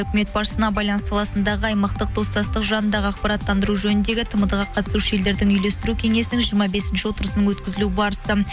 үкімет басшысына байланыс саласындағы аймақтық достастық жанындағы ақпараттандыру жөніндегі тмд ға қатысушы елдердің үйлестіру кеңесінің жиырма бесінші отырысының өткізілу барысы